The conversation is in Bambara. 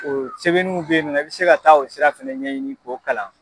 O sɛbɛnniw bɛ ye nɔ i bɛ se ka taa o sira fɛnɛ ɲɛɲini k'o kalan.